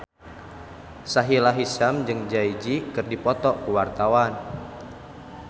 Sahila Hisyam jeung Jay Z keur dipoto ku wartawan